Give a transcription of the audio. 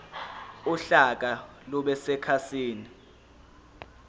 uhlaka lube sekhasini